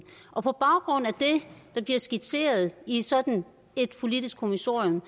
og på baggrund af det der bliver skitseret i sådan et politisk kommissorium